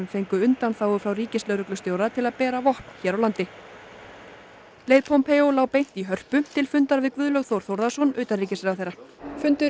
fengu undanþágu frá ríkislögreglustjóra til að bera vopn hér á landi leið Pompeo lá beint í Hörpu til fundar við Guðlaug Þór Þórðarson utanríkisráðherra fundur